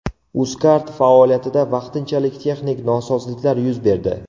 UzCard faoliyatida vaqtinchalik texnik nosozliklar yuz berdi.